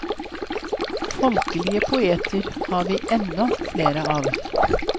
Folkelige poeter har vi ennå flere av.